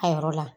A yɔrɔ la